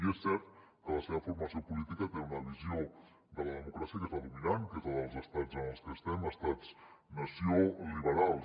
i és cert que la seva formació política té una visió de la democràcia que és la dominant que és la dels estats en els que estem estats nació liberals